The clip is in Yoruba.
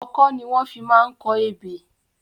Ọkọ́ ni wọ́n fi máa ń kọ ebè.